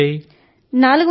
ఇప్పుడు ఎన్ని వచ్చాయి